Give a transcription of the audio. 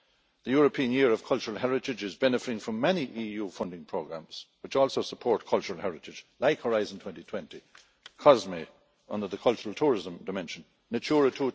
The European Year of Cultural Heritage is benefiting from many EU funding programmes which also support cultural heritage like Horizon 2020, COSME under the cultural tourism dimension, and Natura